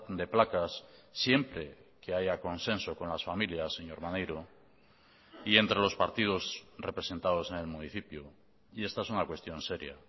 de placas siempre que haya consenso con las familias señor maneiro y entre los partidos representados en el municipio y esta es una cuestión seria